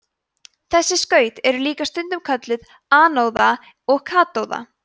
þessi skaut eru líka stundum kölluð anóða og katóða